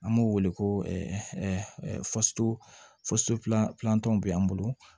An b'o wele ko bɛ an bolo